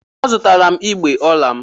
A zụtala m igbé ọla m.